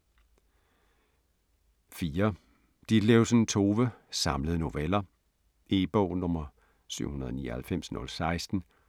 4. Ditlevsen, Tove: Samlede noveller E-bog 799016